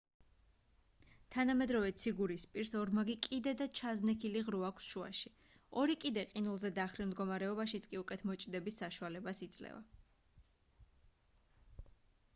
თანამედროვე ციგურის პირს ორმაგი კიდე და ჩაზნექილი ღრუ აქვს შუაში ორი კიდე ყინულზე დახრილ მდგომარეობაშიც კი უკეთ მოჭიდების საშუალებას იძლევა